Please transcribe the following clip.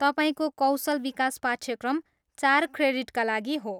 तपाईँको कौशल विकास पाठ्यक्रम चार क्रेडिटका लागि हो।